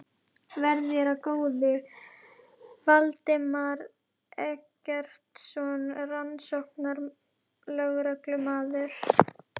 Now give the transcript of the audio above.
Verði þér að góðu, Valdimar Eggertsson rannsóknarlögreglumaður.